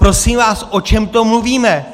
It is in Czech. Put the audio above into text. Prosím vás, o čem to mluvíme!